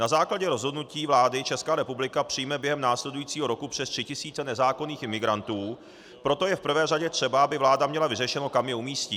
Na základě rozhodnutí vlády Česká republika přijme během následujícího roku přes 3 tisíce nezákonných imigrantů, proto je v prvé řadě třeba, aby vláda měla vyřešeno, kam je umístí.